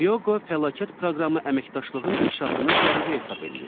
Hyoqo fəlakət proqramı əməkdaşlığın inkişafını zəruri hesab eləyir.